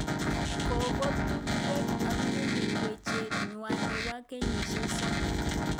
Kokotup Drake ak mikmill wechet nywaa nebo kenyisyek somok